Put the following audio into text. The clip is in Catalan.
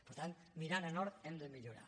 per tant mirant a nord hem de millorar